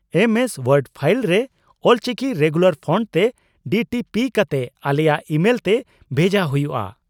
ᱮᱢ S Word file ᱨᱮ Ol Chiki regular fonts ᱛᱮ DTP ᱠᱟᱛᱮ ᱟᱞᱮᱭᱟᱜ ᱤᱢᱮᱞᱛᱮ ᱵᱷᱮᱡᱟ ᱦᱩᱭᱩᱜᱼᱟ ᱾